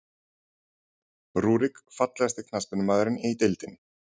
Rúrik Fallegasti knattspyrnumaðurinn í deildinni?